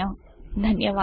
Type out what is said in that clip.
ధన్యవాదములు